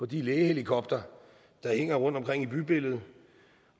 de lægehelikoptere der hænger rundtomkring i bybilledet